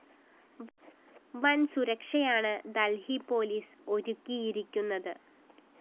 വന്‍ സുരക്ഷയാണ്‌ ദല്‍ഹി പോലീസ്‌ ഒരുക്കിയിരിക്കുന്നത്‌